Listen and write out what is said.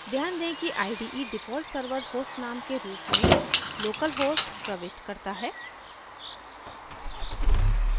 ध्यान दें कि ide default server host name के रूप में localhost प्रविष्ट करता है